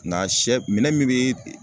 Na sɛ minɛn min be